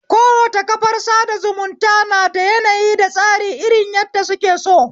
Kowace kafar sada zumunta nada yanayi da tsari irin yadda suke so